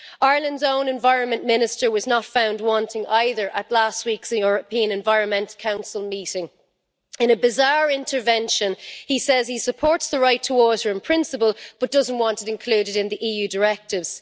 Ireland's own Environment Minister was not found wanting either at last week's European Environment Council meeting, in a bizarre intervention, he said he supports the right to water in principle but doesn't wanted it included in EU directives.